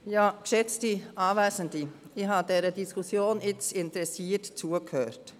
Ich habe dieser Diskussion nun interessiert zugehört.